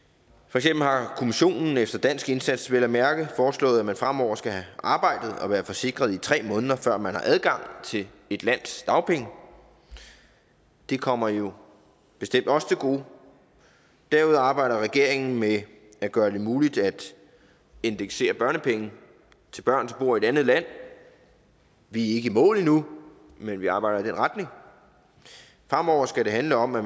har kommissionen efter dansk indsats vel at mærke foreslået at man fremover skal have arbejdet og være forsikret i tre måneder før man har adgang til et lands dagpenge det kommer jo bestemt os til gode derudover arbejder regeringen med at gøre det muligt at indeksere børnepenge til børn som bor i et andet land vi er ikke i mål endnu men vi arbejder i den retning fremover skal det handle om at